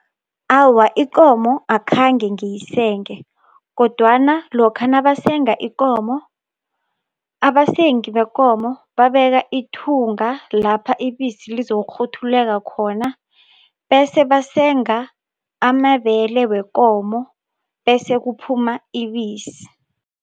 Awa, ikomo akhange ngiyisenge kodwana lokha nabasenga ikomo abasengi bekomo babeka ithunga lapha ibisi lizokukghuthulelwa khona, bese basenga amabele wekomo bese kuphuma ibisi.